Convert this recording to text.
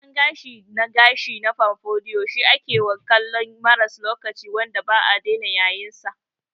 Gyaran gashi na gashi na pompadour shi akewa kallon maras lokaci wanda ba'a dena yayinsa.